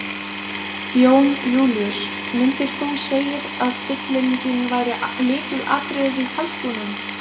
Jón Júlíus: Myndir þú segir að fyllingin væri lykilatriðið í kalkúnum?